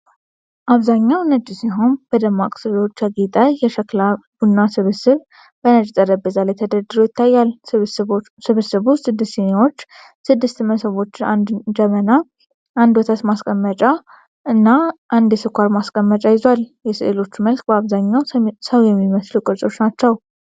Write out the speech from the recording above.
አብዛኛው ነጭ ሲሆን በደማቅ ሥዕሎች ያጌጠ የሸክላ ቡና ስብስብ በነጭ ጠረጴዛ ላይ ተደርድሮ ይታያል። ስብስቡ ስድስት ስኒዎች፣ ስድስት መሶቦች፣ አንድ ጀበና፣ አንድ ወተት ማስቀመጫ እና አንድ የስኳር ማስቀመጫ ይዟል። የስዕሎቹ መልክ በአብዛኛው ሰው የሚመስሉ ቅርጾች ናቸው።